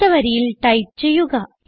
അടുത്ത വരിയിൽ ടൈപ്പ് ചെയ്യുക